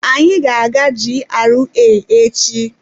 Anyị ga-aga GRA echi.